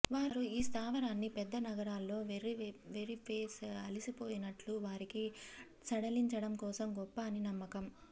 వారు ఈ స్థావరాన్ని పెద్ద నగరాల్లో వెఱ్ఱి పేస్ అలసిపోయినట్లు వారికి సడలించడం కోసం గొప్ప అని నమ్మకం